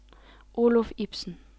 Oluf Ibsen